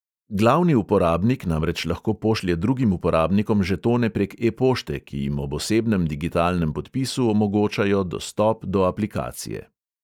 Glavni uporabnik namreč lahko pošlje drugim uporabnikom žetone prek e-pošte, ki jim ob osebnem digitalnem podpisu omogočajo dostop do aplikacije.